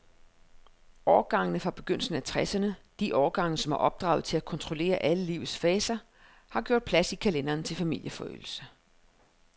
Årgangene fra begyndelsen af tresserne, de årgange, som er opdraget til at kontrollere alle livets faser, har gjort plads i kalenderen til familieforøgelse.